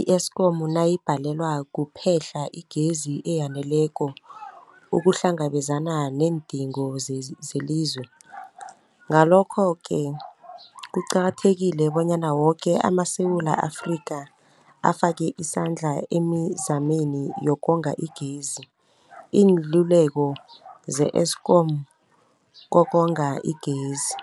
i-Eskom nayibhalelwa kuphe-hla igezi eyaneleko ukuhlangabezana neendingo zezelizwe. Ngalokho-ke kuqakathekile bonyana woke amaSewula Afrika afake isandla emizameni yokonga igezi. Iinluleko ze-Eskom ngokonga igezi.